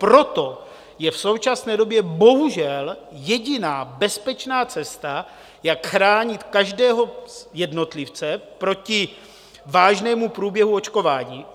Proto je v současné době bohužel jediná bezpečná cesta, jak chránit každého jednotlivce proti vážnému průběhu očkování.